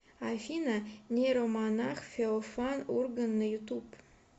афина нейромонах феофан ураган на ютуб